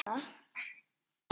Hann góndi á hana.